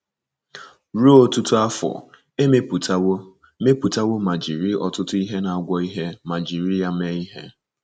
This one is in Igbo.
Ruo ọtụtụ afọ, e mepụtawo mepụtawo ma jiri ọtụtụ ihe na-agwọ ihe ma jiri ya mee ihe.